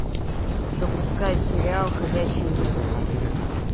запускай сериал ходячие мертвецы